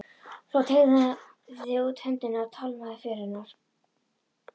Svo hann teygði út höndina og tálmaði för hennar.